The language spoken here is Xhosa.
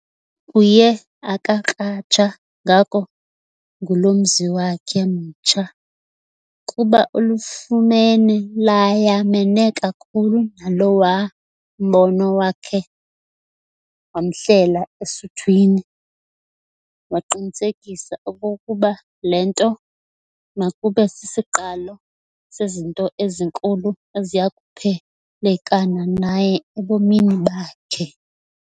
Uye akakratsha ngako ngulo mzi wakhe mtsha, kuba ulifumene layamene kakhulu nalowa mbono wakhe wamhlela esuthwini, waqinisekisa okokuba le nto makube sisiqalo sezinto ezinkulu eziyakuphelekana naye ebomini bakhe.